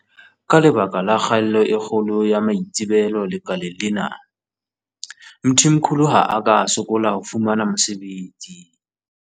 Ka lebaka la kgaello e kgolo ya maitsebelo lekaleng lena, Mthimkhulu ha a ka a sokola ho fumana mosebetsi.